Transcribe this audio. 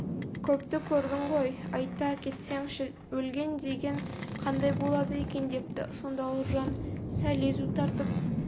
көпті көрдің ғой айта кетсеңші өлген деген қандай болады екен депті сонда ұлжан сәл езу тартып